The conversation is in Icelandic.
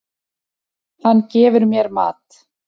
Hann gefur mér mat.